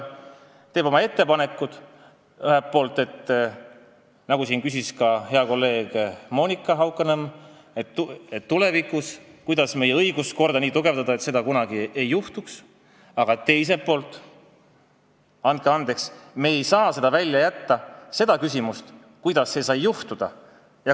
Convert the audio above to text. Me teeme oma ettepanekud, kuidas, nagu siin küsis hea kolleeg Monika Haukanõmm, tulevikus meie õiguskorda nii tugevdada, et midagi sellist enam kunagi ei juhtuks, aga küsime ka – andke andeks, me ei saa seda küsimust kõrvale jätta –, kuidas see kõik sai juhtuda.